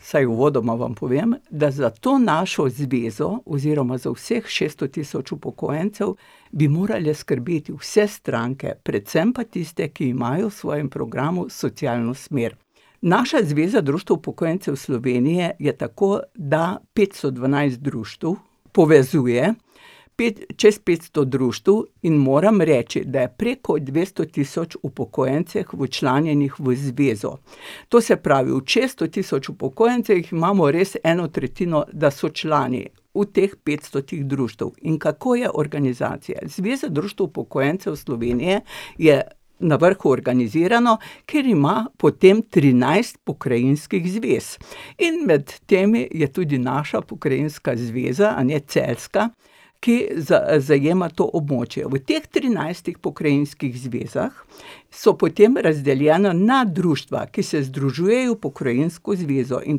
vsaj uvodoma vam povem, da za to našo zvezo oziroma za vseh šeststo tisoč upokojencev bi morale skrbeti vse stranke, predvsem pa tiste, ki imajo v svojem programu socialno smer. Naša Zveza društev upokojencev Slovenije je tako, da petsto dvanajst društev povezuje čez petsto društev, in moram reči, da je preko dvesto tisoč upokojencev včlanjenih v Zvezo. To se pravi, od šeststo tisoč upokojencev jih imamo res eno tretjino, da so člani. V teh petstotih društev. In kako je organizacija? Zveza društev upokojencev Slovenije je na vrhu organizirana, ker ima potem trinajst pokrajinskih zvez. In med temi je tudi naša pokrajinska zveza, a ne, celjska, ki zajema to območje. V teh trinajstih pokrajinskih zvezah so potem razdeljena na društva, ki se združujejo v pokrajinsko zvezo. In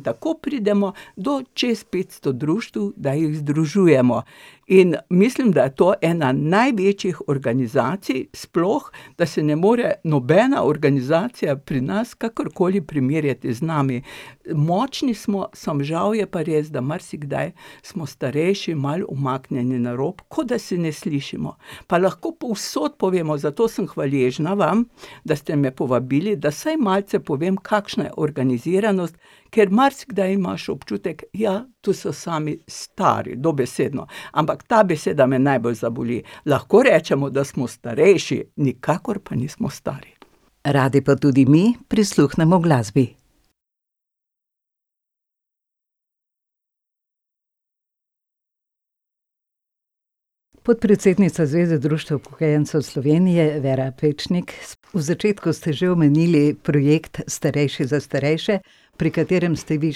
tako pridemo do čez petsto društev, da jih združujemo. In mislim, da je to ena največjih organizacij sploh, da se ne more nobena organizacija pri nas kakorkoli primerjati z nami. Močni smo, samo žal je pa res, da marsikdaj smo starejši malo umaknjeni na rob, kot da se ne slišimo. Pa lahko povsod povemo. Zato sem hvaležna vam, da ste me povabili, da vsaj malce povem, kakšna je organiziranost, ker marsikdaj maš občutek: "Ja, to so sami stari, dobesedno." Ampak ta beseda me najbolj zaboli. Lahko rečemo, da smo starejši, nikakor pa nismo stari. Radi pa tudi mi prisluhnemo glasbi. Podpredsednica Zveze društev upokojencev Slovenije Vera Pečnik, v začetku ste že omenili projekt Starejši za starejše, pri katerem ste vi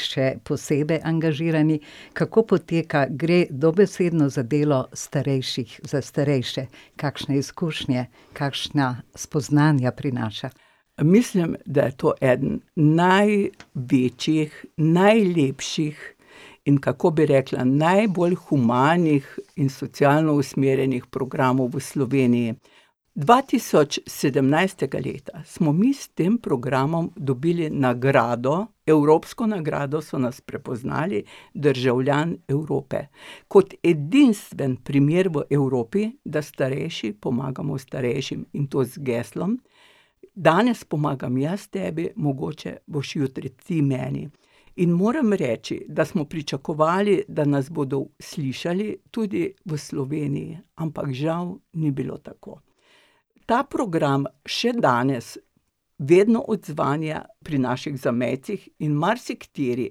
še posebej angažirani. Kako poteka? Gre dobesedno za delo starejših za starejše? Kakšne izkušnje, kakšna spoznanja prinaša? Mislim, da je to eden največjih, najlepših in, kako bi rekla, najbolj humanih in socialno usmerjenih programov v Sloveniji. Dva tisoč sedemnajstega leta smo mi s tem programom dobili nagrado, evropsko nagrado, so nas prepoznali, Državljan Evrope. Kot edinstven primer v Evropi, da starejši pomagamo starejšim. In to z geslom: "Danes pomagam jaz tebi, mogoče boš jutri ti meni." In moram reči, da smo pričakovali, da nas bodo slišali tudi v Sloveniji. Ampak žal ni bilo tako. Ta program še danes vedno odzvanja pri naših zamejcih in marsikateri,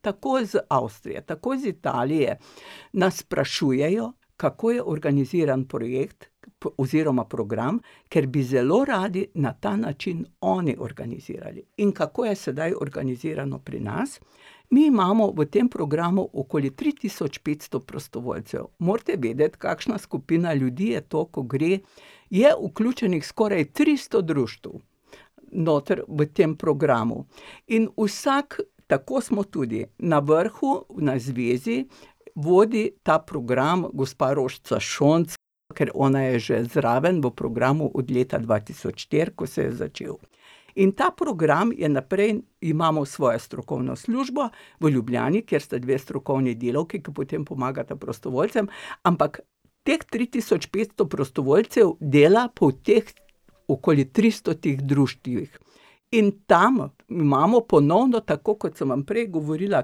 tako iz Avstrije, tako iz Italije, nas sprašujejo, kako je organiziran projekt oziroma program, ker bi zelo radi na ta način oni organizirali. In kako je sedaj organizirano pri nas? Mi imamo v tem programu okoli tri tisoč petsto prostovoljcev. Morate vedeti, kakšna skupina ljudi je to, ko gre, je vključenih skoraj tristo društev noter v tem programu. In vsak, tako smo tudi na vrhu, na zvezi, vodi ta program gospa Rožca Šonc, ker ona je že zraven v programu od leta dva tisoč štiri, ko se je začel. In ta program je naprej, imamo svojo strokovno službo v Ljubljani, kjer sta dve strokovni delavki, ke potem pomagata prostovoljcem, ampak teh tri tisoč petsto prostovoljcev dela po teh okoli tristotih društvih. In tam imamo ponovno, tako kot sem vam prej govorila,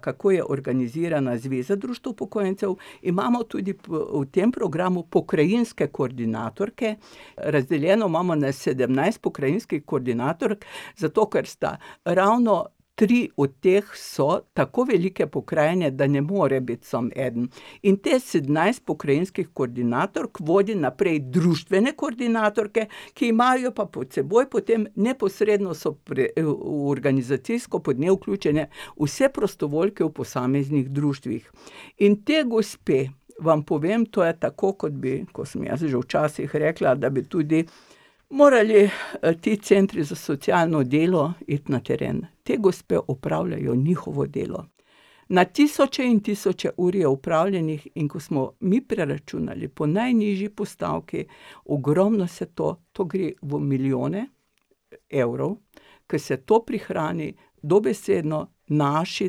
kako je organizirana Zveza društev upokojencev, imamo tudi v tem programu pokrajinske koordinatorke, razdeljeno mamo na sedemnajst pokrajinskih koordinatork, zato ker so ravno tri od teh so tako velike pokrajine, da ne more bit samo eden. In teh sedemnajst pokrajinskih koordinatork vodi naprej društvene koordinatorke, ki imajo pa pod seboj potem, neposredno so organizacijsko pod nje vključene vse prostovoljke v posameznih društvih. In te gospe, vam povem, to je tako, kot bi, ko sem jaz že včasih rekla, da bi tudi morali, ti centri za socialno delo it na teren. Te gospe opravljajo njihovo delo. Na tisoče in tisoče ur je opravljenih, in ko smo mi preračunali po najnižji postavki, ogromno se to, to gre v milijone evrov. Ke se to prihrani, dobesedno naši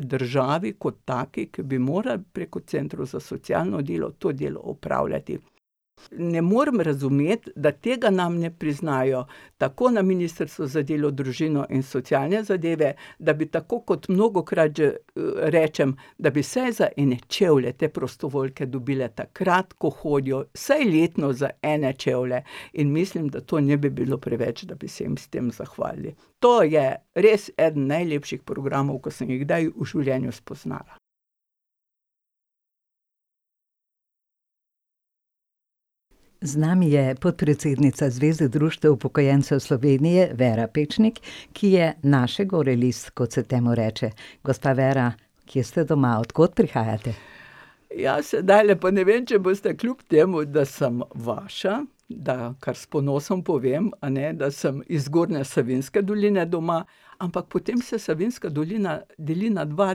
državi kot taki, ke bi morala preko centrov za socialno delo to delo opravljati. Ne morem razumeti, da tega nam ne priznajo tako na ministrstvu za delo, družino in socialne zadeve, da bi, tako kot mnogokrat rečem, da bi vsej za ene čevlje te prostovoljke dobile takrat, ko hodijo, vsaj letno za ene čevlje. In mislim, da to ne bi bilo preveč, da bi se jim s tem zahvalili. To je res eden najlepših programov, ker sem jih kdaj v življenju spoznala. Z nami je podpredsednica Zveze društev upokojencev Slovenije, Vera Pečnik, ki je naše gore list, kot se temu reče. Gospa Vera, kje ste doma? Od kod prihajate? Ja, sedajle pa ne vem, če boste, kljub temu da sem vaša, da kar s ponosom povem, a ne, da sem iz Zgornje Savinjske doline doma, ampak potem se Savinjska dolina deli na dva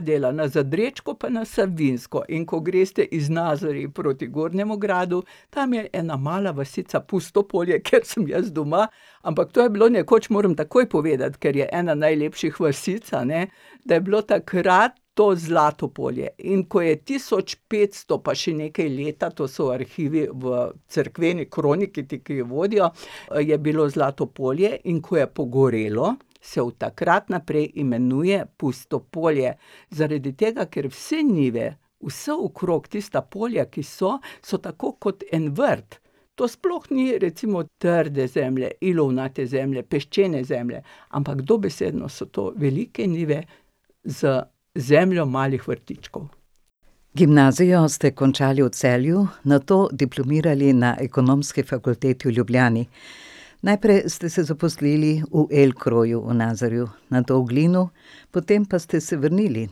dela, na Zadrečko pa na Savinjsko. In ko greste iz Nazarij proti Gornjemu Gradu, tam je ena mala vasica Pusto Polje, kjer sem jaz doma. Ampak to je bilo nekoč, moram takoj povedati, ker je ena najlepših vasic, a ne, da je bilo takrat to Zlato Polje. In ko je tisoč petsto pa še nekaj leta, to so arhivi v cerkveni kroniki, ti, ke jo vodjo, je bilo Zlato Polje, in ko je pogorelo, se od takrat naprej imenuje Pusto Polje. Zaradi tega, ker vse njive, vse okrog tista polja, ki so, so tako kot en vrt. To sploh ni recimo trde zemlje, ilovnate zemlje, peščene zemlje, ampak dobesedno so to velike njive z zemljo malih vrtičkov. Gimnazijo ste končali v Celju, nato diplomirali na Ekonomski fakulteti v Ljubljani. Najprej ste se zaposlili v Elkroju v Nazarju, nato v Glinu, potem pa ste se vrnili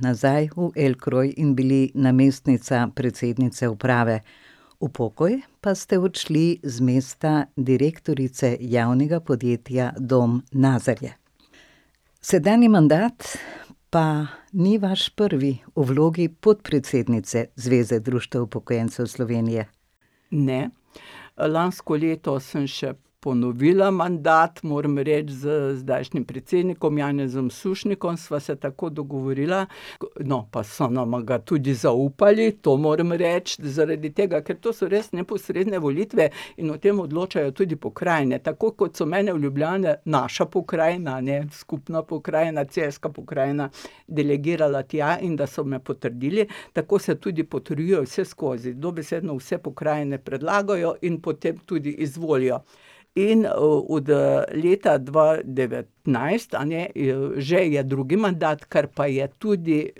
nazaj v Elkroj in bili namestnica predsednice uprave. V pokoj pa ste odšli z mesta direktorice javnega podjetja Dom Nazarje. Sedanji mandat pa ni vaš prvi v vlogi podpredsednice Zveze društev upokojencev Slovenije. Ne. Lansko leto sem še ponovila mandat. Moram reči z zdajšnjim predsednikom Janezom Sušnikom sva se tako dogovorila. No, pa so nama ga tudi zaupali, to moram reči. Zaradi tega, ker to so res neposredne volitve in o tem odločajo tudi pokrajine, tako kot so mene v Ljubljani, naša pokrajina, a ne, skupna pokrajina, celjska pokrajina, delegirala tja in da so me potrdili, tako se tudi potrjuje vseskozi. Dobesedno vse pokrajine predlagajo in potem tudi izvolijo. In od leta dva devetnajst, a ne, je že je drugi mandat, ker pa je tudi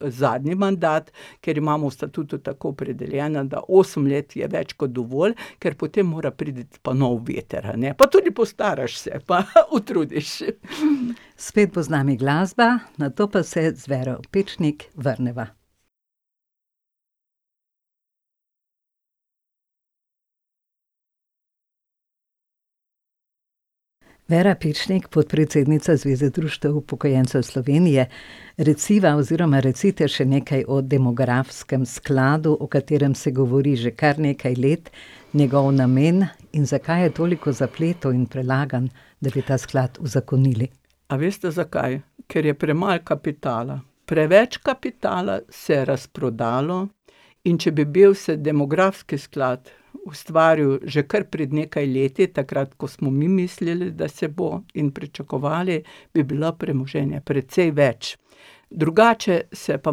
zadnji mandat, ker imamo v statutu tako opredeljeno, da osem let je več kot dovolj, ker potem mora priti pa nov veter, a ne. Pa tudi postaraš se, pa utrudiš. Spet bo z nami glasba, nato pa se z Vero Pečnik vrneva. Vera Pečnik, podpredsednica Zveze društev upokojencev Slovenije, reciva oziroma recite še nekaj o demografskem skladu, o katerem se govori že kar nekaj let, njegov namen in zakaj je toliko zapletov in prelaganj, da bi ta sklad uzakonili. A veste, zakaj? Ker je premalo kapitala. Preveč kapitala se je razprodalo in če bi bil demografski sklad, ustvaril že kar pred nekaj leti, takrat ko smo mi mislili, da se bo, in pričakovali, bi bilo premoženja precej več. Drugače se je pa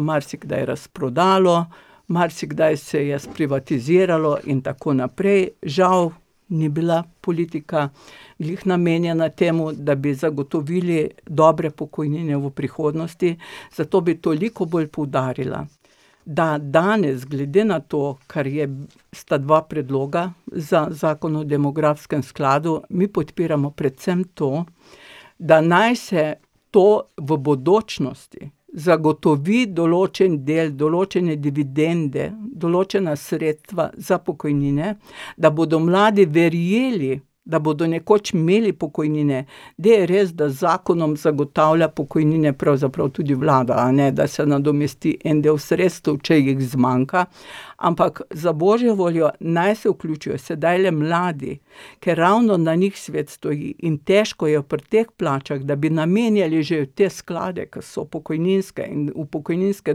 marsikdaj razprodalo, marsikdaj se je sprivatiziralo in tako naprej. Žal ni bila politika glih namenjena temu, da bi zagotovili dobre pokojnine v prihodnosti. Zato bi toliko bolj poudarila, da danes glede na to, kar je sta dva predloga za zakon o demografskem skladu, mi podpiramo predvsem to, da naj se to v bodočnosti zagotovi določen del, določene dividende, določena sredstva za pokojnine, da bodo mladi verjeli, da bodo nekoč imeli pokojnine. Zdaj je res, da z zakonom zagotavlja pokojnine pravzaprav tudi vlada, a ne, da se nadomesti en del sredstev, če jih zmanjka, ampak, za božjo voljo, naj se vključijo sedajle mladi, ker ravno na njih svet stoji. In težko je pri teh plačah, da bi namenjali že v te sklade, ke so pokojninske in v pokojninske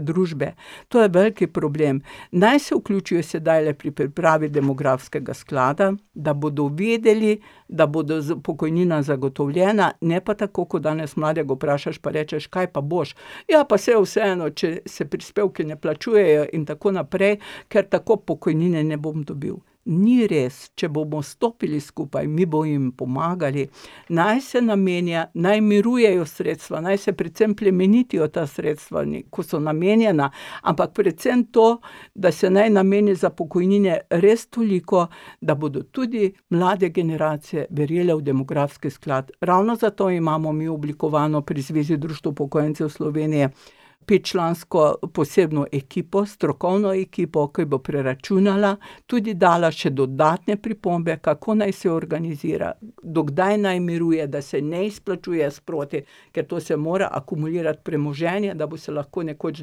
družbe, to je velik problem. Naj se vključijo sedajle pri pripravi demografskega sklada, da bodo vedeli, da bodo pokojnina zagotovljena, ne pa tako, ko danes mladega vprašaš, pa rečeš: "Kaj pa boš?" "Ja, pa sej je vseeno, če se prispevki ne plačujejo in tako naprej, ker tako pokojnine ne bom dobil." Ni res. Če bomo stopili skupaj, mi bomo jim pomagali, naj se namenja, naj mirujejo sredstva, naj se predvsem plemenitijo ta sredstva, ne, ko so namenjena. Ampak predvsem to, da se naj nameni za pokojnine res toliko, da bodo tudi mlade generacije verjele v demografski sklad. Ravno zato imamo mi oblikovano pri Zvezi društev upokojencev Slovenije petčlansko posebno ekipo, strokovno ekipo, ke bo preračunala, tudi dala še dodatne pripombe, kako naj se organizira, do kdaj naj miruje, da se ne izplačuje sproti, ker to se mora akumulirati premoženje, da bo se lahko nekoč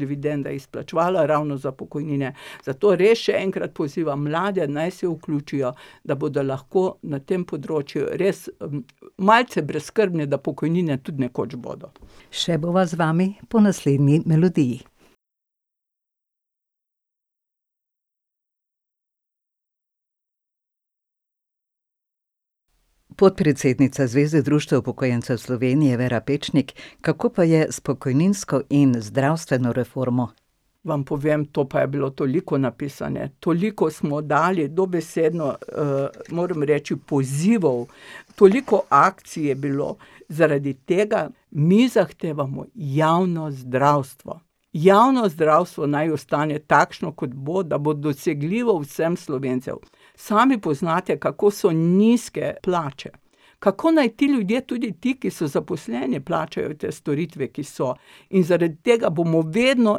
dividenda izplačevala ravno za pokojnine. Zato res še enkrat pozivam mlade, naj se vključijo, da bodo lahko na tem področju res, malce brezskrbni, da pokojnine tud nekoč bodo. Še bova z vami po naslednji melodiji. Podpredsednica Zveze društev upokojencev Slovenije, Vera Pečnik, kako pa je s pokojninsko in zdravstveno reformo? Vam povem, to pa je bilo toliko napisanega, toliko smo dali dobesedno, moram reči, pozivov, toliko akcij je bilo, zaradi tega mi zahtevamo javno zdravstvo. Javno zdravstvo naj ostane takšno, kot bo, da bo dosegljivo vsem Slovencem. Sami poznate, kako so nizke plače. Kako naj ti ljudje, tudi ti, ki so zaposleni, plačajo te storitve, ki so? In zaradi tega bomo vedno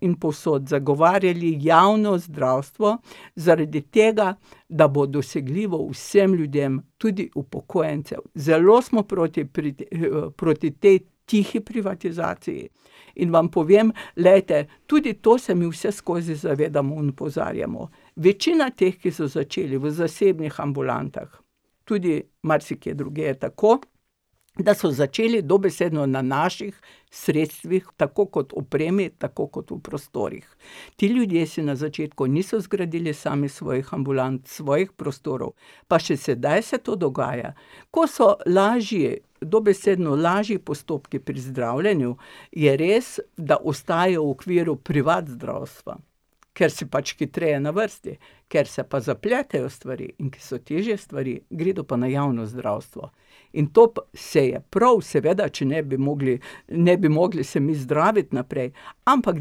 in povsod zagovarjali javno zdravstvo, zaradi tega, da bo dosegljivo vsem ljudem, tudi upokojencem. Zelo smo proti proti tej tihi privatizaciji in vam povem, glejte: tudi to se mi vseskozi zavedamo in opozarjamo. Večina teh, ki so začeli v zasebnih ambulantah, tudi marsikje drugje je tako, da so začeli dobesedno na naših sredstvih, tako kot opremi, tako kot v prostorih. Ti ljudje si na začetku niso zgradili sami svojih ambulant, svojih prostorov, pa še sedaj se to dogaja. Ko so lažji dobesedno lažji postopki pri zdravljenju, je res, da ostaja v okviru privat zdravstva, ker si pač hitreje na vrsti. Kjer se pa zapletejo stvari in kjer so težje stvari, gredo pa na javno zdravstvo. In to pa, sej je prav seveda, če ne, bi mogli, ne bi mogli se mi zdraviti naprej. Ampak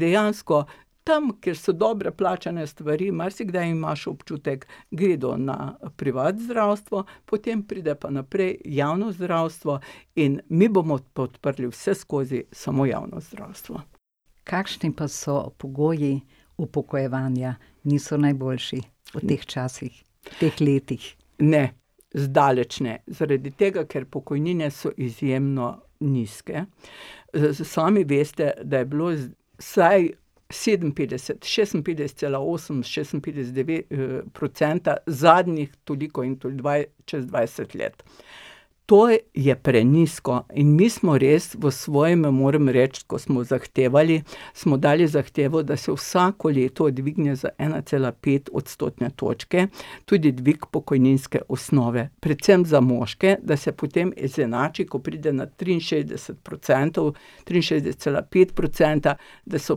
dejansko tam, kjer so dobro plačane stvari, marsikdaj imaš občutek, gredo na privat zdravstvo, potem pridejo pa naprej v javno zdravstvo. In mi bomo podprli vseskozi samo javno zdravstvo. Kakšni pa so pogoji upokojevanja? Niso najboljši v teh časih, teh letih. Ne. Zdaleč ne. Zaradi tega, ker pokojnine so izjemno nizke. sami veste, da je bilo vsaj sedeminpetdeset, šestinpetdeset cela osem, šestinpetdeset devet, procenta zadnjih toliko in to čez dvajset let. To je prenizko. In mi smo res v svojem, moram reči, ko smo zahtevali, smo dali zahtevo, da se vsako leto dvigne za ena cela pet odstotne točke, tudi dvig pokojninske osnove, predvsem za moške, da se potem izenači, ko pride na triinšestdeset procentov, triinšestdeset cela pet procenta, da so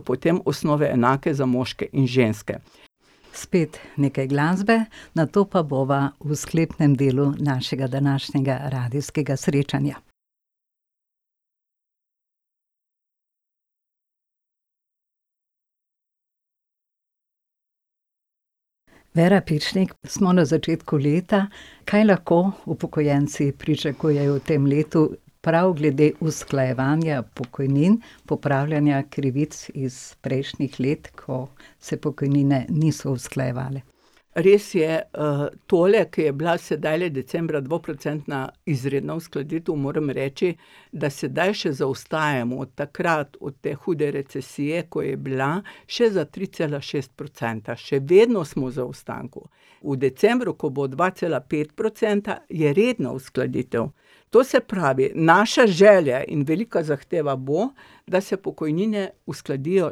potem osnove enake za moške in ženske. Spet nekaj glasbe, nato pa bova v sklepnem delu našega današnjega Radijskega srečanja. Vera Pečnik, smo na začetku leta. Kaj lahko upokojenci pričakujejo v tem letu prav glede usklajevanja pokojnin, popravljanja krivic iz prejšnjih let, ko se pokojnine niso usklajevale? Res je. tole, ke je bla sedajle decembra dvoprocentna izredna uskladitev, moram reči, da sedaj še zaostajamo od takrat, od te hude recesije, ko je bila, še za tri cela šest procenta. Še vedno smo v zaostanku. V decembru, ko bo dva cela pet procenta, je redna uskladitev. To se pravi, naša želja in velika zahteva bo, da se pokojnine uskladijo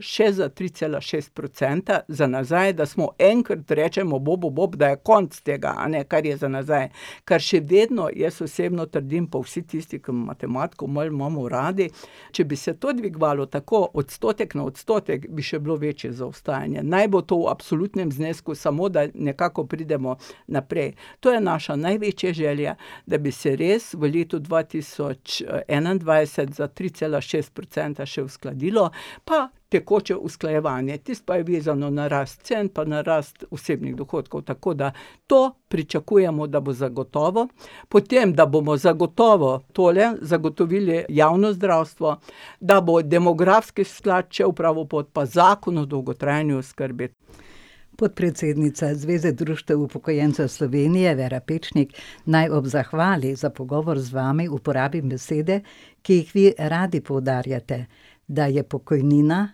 še za tri cela šest procenta za nazaj, da smo enkrat rečemo bobu bob, da je konec tega, a ne, kar je za nazaj. Ker še vedno jaz osebno trdim, pa vsi tisti, ke matematiko malo imamo radi, če bi se to dvigovalo tako, odstotek na odstotek, bi še bilo večje zaostajanje. Naj bo to v absolutnem znesku, samo da nekako pridemo naprej. To je naša največja želja, da bi se res v letu dva tisoč enaindvajset za tri cela šest procenta še uskladilo. Pa tekoče usklajevanje. Tisto pa je vezano na rast cen pa na rast osebnih dohodkov. Tako da to pričakujemo, da bo zagotovo. Potem, da bomo zagotovo tole, zagotovili javno zdravstvo, da bo demografski sklad šel pravo pot, pa zakon o dolgotrajni oskrbi. Podpredsednica Zveze društev upokojencev Slovenije Vera Pečnik, naj ob zahvali za pogovor z vami uporabim besede, ki jih vi radi poudarjate. Da je pokojnina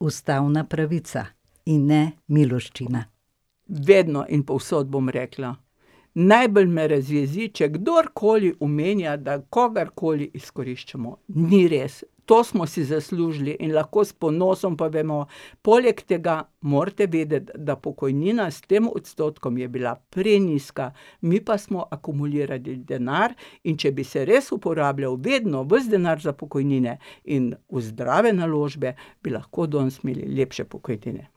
ustavna pravica, in ne miloščina. Vedno in povsod bom rekla: "Najbolj me razjezi, če kdorkoli omenja, da kogarkoli izkoriščamo." Ni res. To smo si zaslužili in lahko s ponosom povemo. Poleg tega morate vedeti, da pokojnina s tem odstotkom je bila prenizka. Mi pa smo akumulirali denar, in če bi se res uporabljal vedno ves denar za pokojnine in v zdrave naložbe, bi lahko danes imeli lepše pokojnine.